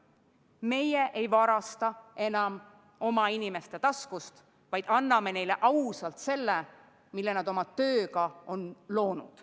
Meie ei varasta oma inimeste taskust, vaid anname neile ausalt selle, mille nad oma tööga on loonud.